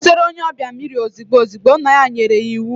Butere onye obia mmiri ozigbo ozigbo, nna ya nyere ya iwu.